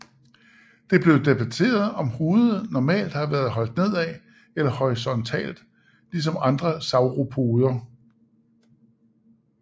Det er blevet debateret om hovedet normalt har været holdt nedad eller horisontalt ligesom andre sauropoder